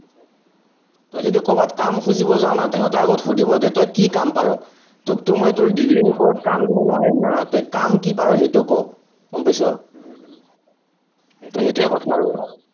তই যদি কৰবাত কাম খুজিব যাৱ না তাহাঁতে আগত সুধিব যে তই কি কাম পাৰ, তোকতো মই তোৰ degree ৰ ওপৰত কাম দিব নোৱাৰিম না, তই কাম কি পাৰ সেইটো ক, গম পাইছ ত সেইটোৱেই কথা আৰু